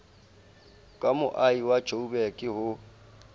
ka moahi wa joburg ho